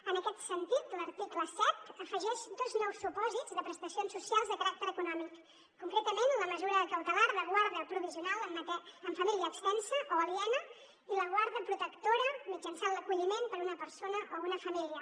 en aquest sentit l’article set afegeix dos nous supòsits de prestacions socials de caràcter econòmic concretament la mesura cautelar de guarda provisional en família extensa o aliena i la guarda protectora mitjançant l’acolliment per una persona o una família